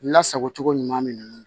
Lasago cogo ɲuman minnu